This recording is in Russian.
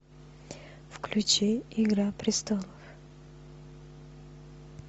включи игра престолов